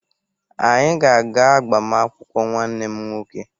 Anyị ga-aga agbamaakwụkwọ nwanne m nwoke